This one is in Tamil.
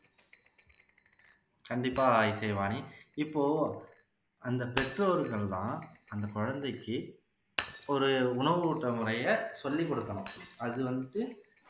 கண்டிப்பா இசைவாணி இப்போ அந்த பெற்றோர்கள் தான் அந்த குழந்தைக்கு ஒரு உணவு ஊட்டுற முறையை சொல்லிக் கொடுக்கணும் அது வந்து